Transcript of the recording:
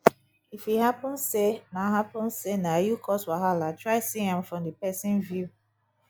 if e hapun sey na hapun sey na yu cause wahala try see am from di pesin view